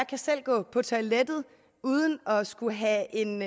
kan selv gå på toilettet uden at skulle have en